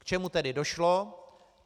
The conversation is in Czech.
K čemu tedy došlo?